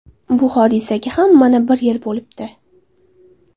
Bu hodisaga ham mana bir yil bo‘libdi.